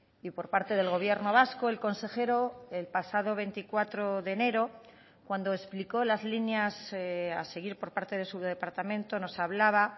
y por parte del gobierno vasco el consejero el pasado veinticuatro de enero cuando explicó las líneas a seguir por parte de su departamento nos hablaba